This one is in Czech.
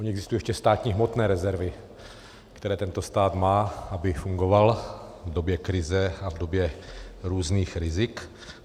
Ony existují ještě státní hmotné rezervy, které tento stát má, aby fungoval v době krize a v době různých rizik.